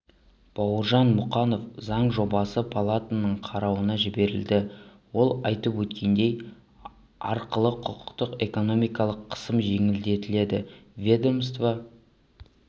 бауыржан мұқанов заң жобасы палатаның қарауына жіберілді ол айтып өткендей арқылы құқықтық экономикалық қысым жеңілдетіледі ведомство